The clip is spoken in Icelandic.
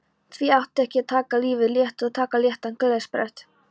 Því ekki að taka lífið létt og taka léttan gleðisprett